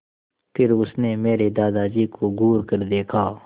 फिर उसने मेरे दादाजी को घूरकर देखा